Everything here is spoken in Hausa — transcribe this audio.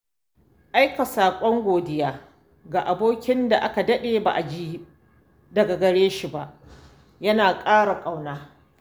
Aika saƙon gaisuwa ga abokin da aka daɗe ba a ji daga gare shi ba yana saka ƙauna.